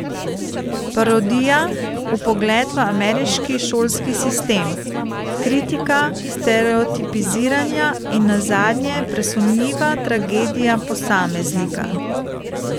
Parodija, vpogled v ameriški šolski sistem, kritika stereotipiziranja in nazadnje presunljiva tragedija posameznika.